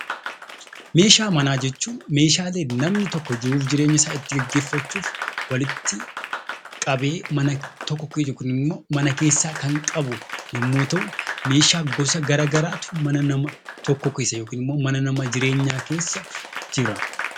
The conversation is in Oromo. Meeshaa manaa jechuun meeshaalee namni tokko jiruuf jireenya isaa itti geggeeffachuuf walitti qabee mana tokko yookiin immoo mana keessaa kan qabu yommuu ta'u; meeshaa gosa gara garaatu mana nama tokkoo keessa yookiin immoo mana jireenyaa namaa keessa jira.